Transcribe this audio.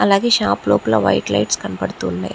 అలాగే షాప్ లోపల white lights కనపడుతూ ఉన్నాయ్.